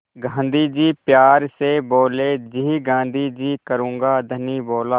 गाँधी जी प्यार से बोले जी गाँधी जी करूँगा धनी बोला